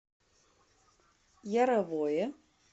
яровое